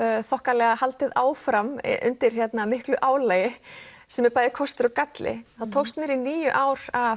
þokkalega haldið áfram undir miklu álagi sem er bæði kostur og galli þá tókst mér í níu ár að